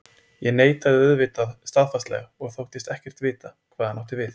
Ég neitaði auðvitað staðfastlega og þóttist ekkert vita hvað hann átti við.